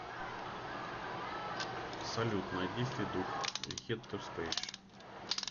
салют найди федук гетто спейс